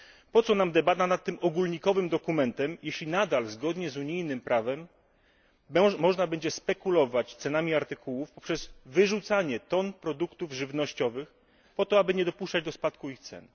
Po co nam debata nad tym ogólnikowym dokumentem, jeśli nadal zgodnie z unijnym prawem można będzie spekulować cenami artykułów poprzez wyrzucanie ton produktów żywnościowych, po to aby nie dopuszczać do spadku ich cen.